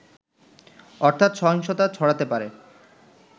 অর্থাৎ, সহিংসতা ছড়াতে পারে